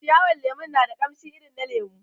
Ciyawar lemon na da kamshi irin na lemu